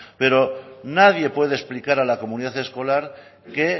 pero nadie puede explicar a la comunidad escolar que